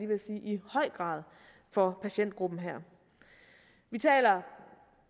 ved at sige i høj grad for patientgruppen her vi taler